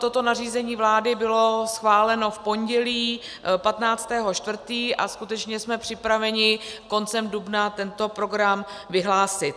Toto nařízení vlády bylo schváleno v pondělí 15. 4. a skutečně jsme připraveni koncem dubna tento program vyhlásit.